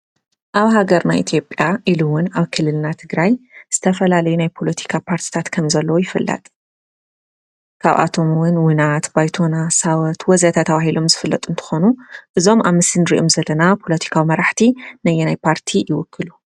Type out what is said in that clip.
ኣብ ሃገርና ኢትዮጽያ ወይ ድማ ኣብ ክልልና ትግራይ ዝተፈላለዩ ፖለቲካ ፓርትታት ከም ዘለው ይፍለጥ። ካብኣቶም እዉን ዉናት፣ ባይቶና ፣ሳወት ወዘተ ተባሂሎም ዝፍለጡ እንትኾኑ እዞም ኣብ ምስሊ ንሪኦም ዘለና ፖለቲካዊ መራሕቲ ነየናይ ፓርቲ ይውክሉ ?